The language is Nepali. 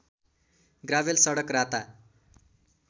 ग्राभेल सडक राता